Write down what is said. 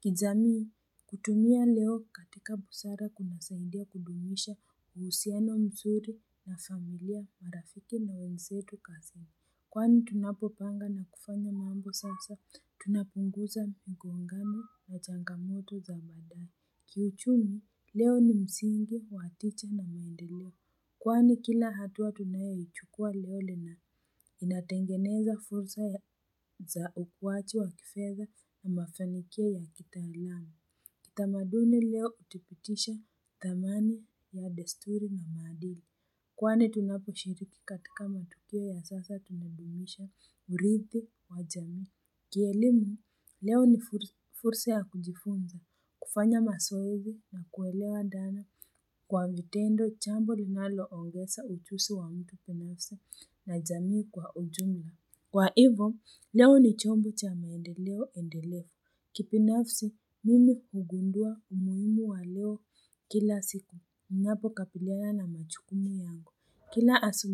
Kijamii, kutumia leo katika busara kunasaidia kudumisha uhusiano mzuri wa familia, marafiki na wenzetu kazini. Kwani tunapopanga na kufanya mambo sasa, tunapunguza mngongano na changamoto za baadaye. Kiuchumi, leo ni msingi wa tija na maendeleo. Kwani kila hatua tunayoichukua leo ina inatengeneza fursa za ukuaji wa kifedha na mafanikio ya kitaalamu. Kitamaduni leo hutupitisha thamani ya desturi na maadili. Kwani tunaposhiriki katika matukio ya sasa, tunadumisha uridhi wa jamii. Kielimu, leo ni fursa ya kujifunza kufanya mazoezi na kuelewa dani kwa vitendo jambo linaloongeza ujuziwa mtu binafsi na jamii kwa ujumla. Kwa hivo, leo ni chombo cha maendeleo endelevu. Kibinafsi, mimi hugundua umuhimu wa leo kila siku. Ninapo kabiliana na majukumu yangu.